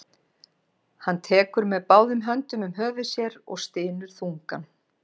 Hann tekur með báðum höndum um höfuð sér og stynur þungan.